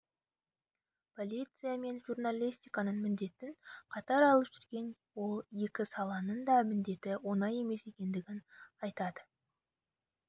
полиция мен журналистиканың міндетін қатар алып жүрген ол екі саланың да міндеті оңай емес екенін айтады